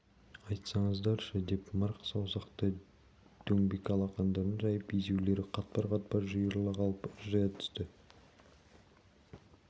айтсаңыздаршы деп мыртық саусақты дөңбек алақандарын жайып езулері қатпар-қатпар жиырыла қалып ыржия түсті